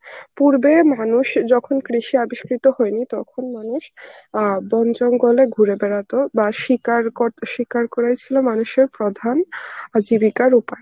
পূর্বে মানুষ যখন কৃষি আবিষ্কৃত হয়নি তখন মানুষ অ্যাঁ বন জঙ্গলে ঘুরে বেড়াতো বা শিকার কর~ শিকার করাই ছিল মানুষের প্রধান জীবিকার উপায়.